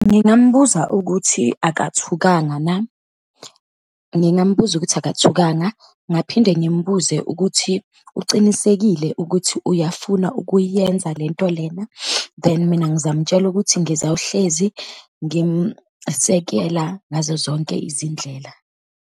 Ngingambuza ukuthi akathukanga na, ngingambuza ukuthi akathukanga, ngaphinde ngimbuze ukuthi ucinisekile ukuthi uyafuna ukuyenza lento lena, then mina ngizamtshela ukuthi ngizawuhlezi ngimsekela ngazo zonke izindlela.